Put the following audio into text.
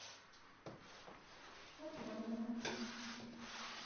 атланова